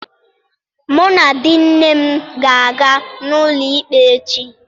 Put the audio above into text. Mụ na di nne m ga-aga n'ụlọ ikpe echi.